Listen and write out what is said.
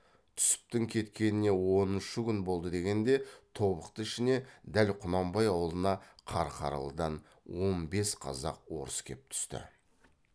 түсіптің кеткеніне оныншы күн болды дегенде тобықты ішіне дәл құнанбай аулына қарқаралыдан он бес қазақ орыс кеп түсті